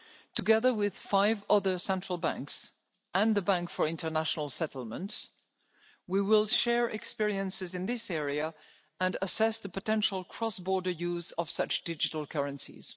Together with five other central banks and the Bank for International Settlements, we will share experiences in this area and assess the potential cross border use of such digital currencies.